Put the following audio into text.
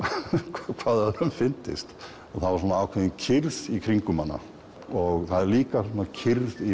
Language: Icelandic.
hvað öðrum fyndist það var ákveðin kyrrð í kringum hana og það er líka kyrrð í